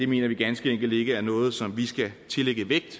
mener vi ganske enkelt ikke er noget som vi skal tillægge vægt